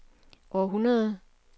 århundrede